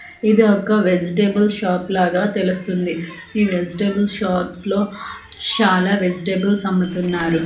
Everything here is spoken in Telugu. ఇది ఒక వెజిటేబుల్ షాప్ లాగా తెలుస్తుంది ఈ వెజిటేబుల్స్ షాప్స్ లో చాలా వెజిటేబుల్స్ అమ్ముతున్నారు.